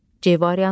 C variantı.